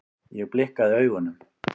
Ég blikkaði augunum.